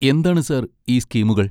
എന്താണ് സർ, ഈ സ്കീമുകൾ?